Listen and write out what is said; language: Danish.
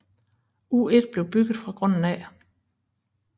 U1 blev bygget fra grunden af